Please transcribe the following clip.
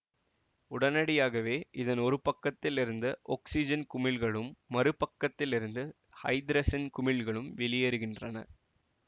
உடனடியாகவே இதன் ஒரு பக்கத்தில் இருந்து ஒக்சிசன் குமிழ்களும் மறு பக்கத்தில் இருந்து ஐதரசன் குமிழ்களும் வெளியேறுகின்றன